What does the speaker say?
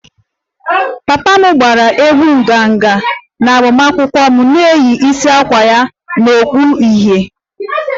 Papa m gbara egwú nganga na agbamakwụkwọ m na-eyi isiagu ya na okpu uhie